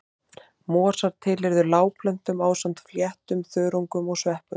Mosar tilheyrðu lágplöntum ásamt fléttum, þörungum og sveppum.